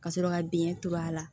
Ka sɔrɔ ka dingɛ to a la